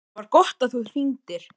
ÞAÐ VAR GOTT AÐ ÞÚ HRINGDIR.